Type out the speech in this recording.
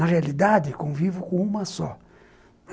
Na realidade, convivo com uma só.